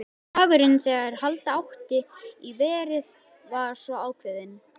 Dagurinn, þegar halda átti í verið, var svo ákveðinn.